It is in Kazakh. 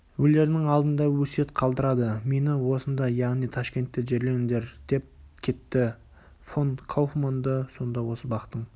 өлерінің алдында өсиет қалдырады мені осында яғни ташкентте жерлеңдер деп кетті фон кауфманды сонда осы бақтың